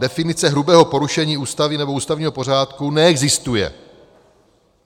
Definice hrubého porušení Ústavy nebo ústavního pořádku neexistuje.